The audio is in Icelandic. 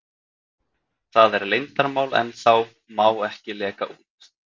Það er leyndarmál ennþá, má ekki leka út.